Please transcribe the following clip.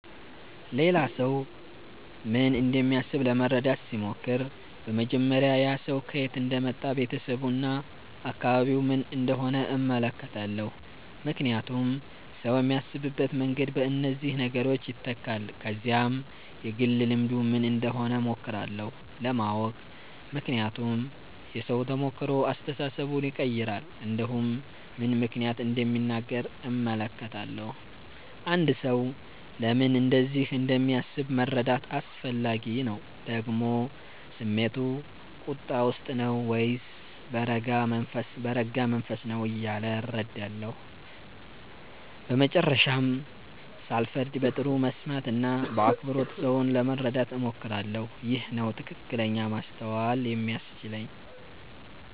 ሌላ ሰው ምን እንደሚያስብ ለመረዳት ሲሞክር በመጀመሪያ ያ ሰው ከየት እንደመጣ ቤተሰቡ እና አካባቢው ምን እንደሆነ እመለከታለሁ ምክንያቱም ሰው የሚያስብበት መንገድ በእነዚህ ነገሮች ይተካል ከዚያም የግል ልምዱ ምን እንደሆነ እሞክራለሁ ለማወቅ ምክንያቱም የሰው ተሞክሮ አስተሳሰቡን ይቀይራል እንዲሁም ምን ምክንያት እንደሚናገር እመለከታለሁ አንድ ሰው ለምን እንደዚህ እንደሚያስብ መረዳት አስፈላጊ ነው ደግሞ ስሜቱ ቁጣ ውስጥ ነው ወይስ በረጋ መንፈስ ነው እያለ እረዳለሁ በመጨረሻም ሳልፈርድ በጥሩ መስማት እና በአክብሮት ሰውን ለመረዳት እሞክራለሁ ይህ ነው ትክክለኛ ማስተዋል የሚያስችለኝ